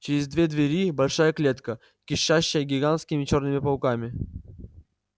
через две двери большая клетка кишащая гигантскими чёрными пауками